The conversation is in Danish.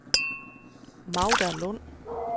Magda Lund